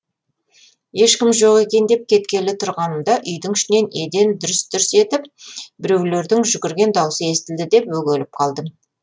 ешкім жоқ екен деп кеткелі тұрғанымда үйдің ішінен еден дүрс дүрс етіп біреулердің жүгірген даусы естілді де бөгеліп қалдым